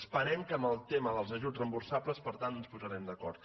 esperem que en el tema dels ajuts reemborsables per tant ens posarem d’acord